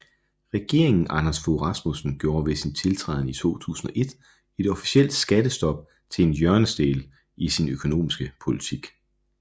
Regeringen Anders Fogh Rasmussen gjorde ved sin tiltræden i 2001 et officielt skattestop til en hjørnesten i sin økonomiske politik